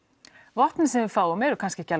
vopnin sem við fáum eru kannski ekki